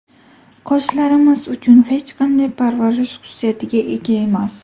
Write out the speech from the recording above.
Qoshlarimiz uchun hech qanday parvarish xususiyatiga ega emas.